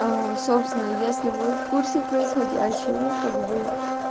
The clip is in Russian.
собственно если вы в курсе происходящего как бы